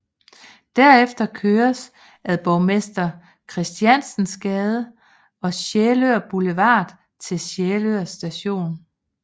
Derefter køres ad Borgmester Christiansens Gade og Sjælør Boulevard til Sjælør st